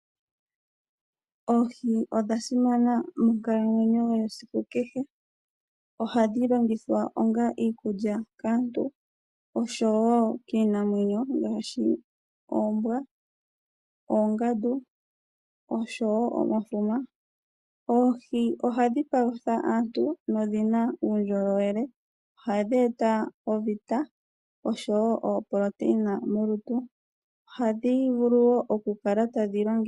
Oohi odha simana monkalamwenyo yesiku kehe. Ohadhi longithwa onga iikulya kaantu nokiinamwenyo ngaashi oombwa, oongandu oshowo omafuma. Oohi ohadhi palutha aantu nodhina uundjolowele. Ohadhi eta oovitamine molutu oshowo oproteina.